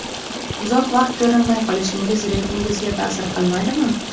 Uzoq vaqt ko‘rinmay qolishingiz reytingingizga ta’sir qilmaydimi?